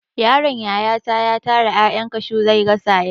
Yaron yayata ya tara 'ya'yan kashu zai gasa yaci.